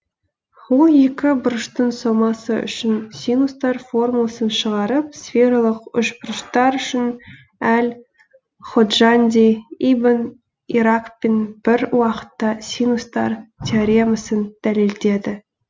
ол екі бұрыштың сомасы үшін синустар формуласын шығарып сфералық үшбұрыштар үшін әл ходжанди ибн иракпен бір уақытта синустар теоремасын дәлелдеді